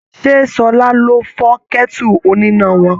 Ṣé Ṣọlá ló fọ́ kẹ́tù oníná wọn?